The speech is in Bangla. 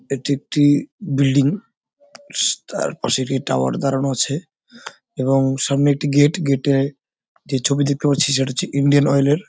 এটি একটি বিল্ডিং তার পাশে একটি টাওয়ার দাঁড়ানো আছে এবং সামনে একটি গেট গেট এর যে ছবি দেখতে পাচ্ছি সেটা হচ্ছে ইন্ডিয়ান অয়েল এর।